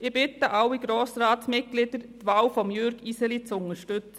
Ich bitte alle Grossratsmitglieder, die Wahl von Jürg Iseli zu unterstützen.